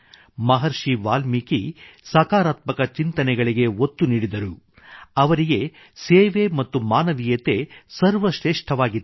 ಮಹರ್ಷಿ ವಾಲ್ಮೀಕಿ ಸಕಾರಾತ್ಮಕ ಚಿಂತನೆಗಳಿಗೆ ಒತ್ತು ನೀಡಿದರು ಅವರಿಗೆ ಸೇವೆ ಮತ್ತು ಮಾನವೀಯತೆ ಸರ್ವಶ್ರೇಷ್ಠವಾಗಿತ್ತು